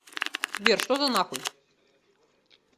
сбер что за нахуй